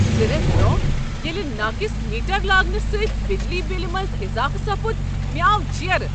زٕ ریتھ برونہہ ییٚلہ ناقص میٹر لاگنہ سۭتۍ بجلی بِلہ منز اضافہٕ سپُد ، مےٚ آو جیرٕ۔